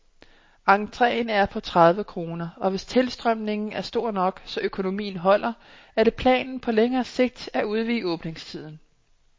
Entreen er på tredive kroner, og hvis tilstrømningen er stor nok, så økonomien holder, er det planen på længere sigt at udvide åbningstiden.